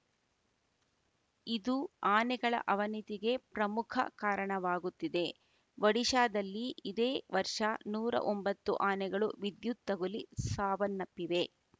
ಇದು ಆನೆಗಳ ಅವನತಿಗೆ ಪ್ರಮುಖ ಕಾರಣವಾಗುತ್ತಿದೆ ಒಡಿಶಾದಲ್ಲಿ ಇದೇ ವರ್ಷ ನೂರ ಒಂಭತ್ತುಆನೆಗಳು ವಿದ್ಯುತ್‌ ತಗುಲಿ ಸಾವನ್ನಪ್ಪಿವೆ